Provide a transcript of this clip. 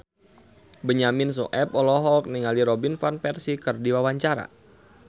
Benyamin Sueb olohok ningali Robin Van Persie keur diwawancara